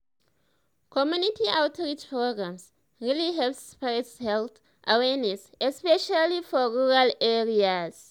community outreach programs really help spread health awareness especially for rural areas.